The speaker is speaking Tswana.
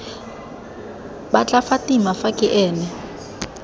batla fatima fa ke ene